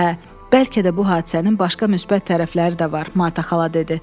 Hə, bəlkə də bu hadisənin başqa müsbət tərəfləri də var, Marta xala dedi.